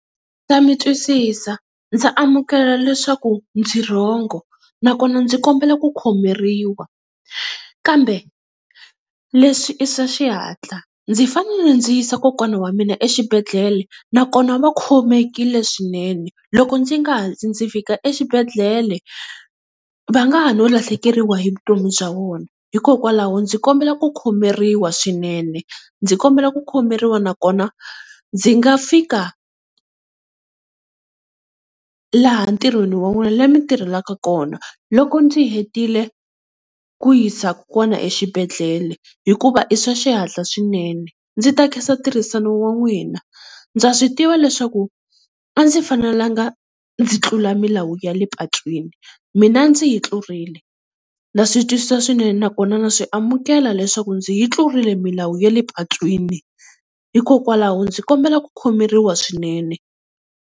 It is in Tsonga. Ndza mi twisisa, ndza amukela leswaku ndzi rhongo nakona ndzi kombela ku khomeriwa. Kambe leswi i swa xihatla ndzi fanele ndzi yisa kokwana wa mina exibedhlele nakona va khomekile swinene, loko ndzi nga hatli ndzi fika exibedhlele va nga ha no lahlekeriwa hi vutomi bya vona, hikokwalaho ndzi kombela ku khomeriwa swinene. Ndzi kombela ku khomeriwa nakona ndzi nga fika laha ntirhweni wa n'wina le mi tirhelaka kona loko ndzi hetile ku yisa kokwana exibedhlele, hikuva i swa xihatla swinene. Ndzi ta khensa ntirhisano wa n'win. Ndza swi tiva leswaku a ndzi fanelanga ndzi tlula milawu ya le patwini mina ndzi yi tlurile na swi twisisa swinene, nakona na swi amukela leswaku ndzi yi tlurile milawu ya le patwini hikokwalaho ndzi kombela ku khomeriwa swinene.